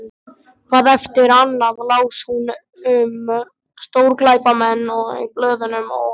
Hvað eftir annað las hún um stórglæpamenn í blöðunum og